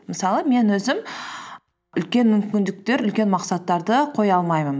мысалы мен өзім үлкен мүмкіндіктер үлкен мақсаттарды қоя алмаймын